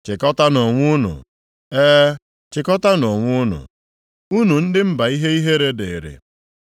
Chịkọtaanụ onwe unu, e, chịkọtaanụ onwe unu, unu ndị mba ihe ihere dịrị.